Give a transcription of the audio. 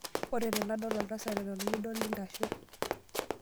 Ore enadol oltasat eton midol intasho.